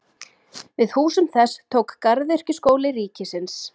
Við húsum þess tók Garðyrkjuskóli ríkisins.